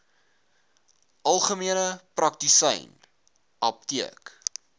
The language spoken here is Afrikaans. algemene praktisyn apteek